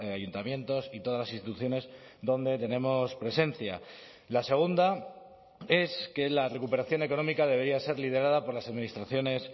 ayuntamientos y todas las instituciones donde tenemos presencia la segunda es que la recuperación económica debería ser liderada por las administraciones